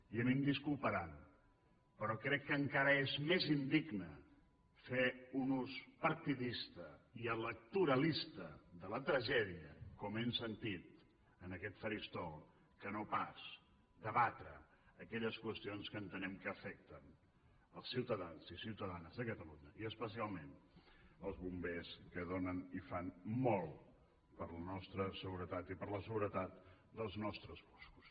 i a mi em disculparan però crec que encara és més indigne fer un ús partidista i electoralista de la tragèdia com hem sentit en aquest faristol que no pas debatre aquelles qüestions que entenem que afecten els ciutadans i les ciutadanes de catalunya i especialment els bombers que donen i fan molt per la nostra seguretat i per la seguretat dels nostres boscos